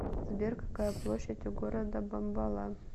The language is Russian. сбер какая площадь у города бомбала